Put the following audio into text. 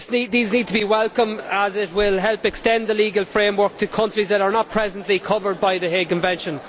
These need to be welcomed as it will help extend the legal framework to countries that are not presently covered by the Hague Convention.